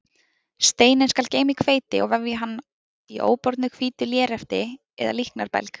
Steininn skal geyma í hveiti og vefja hann í óbornu hvítu lérefti eða líknarbelg.